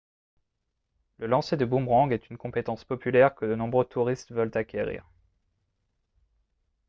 le lancer de boomerang est une compétence populaire que de nombreux touristes veulent acquérir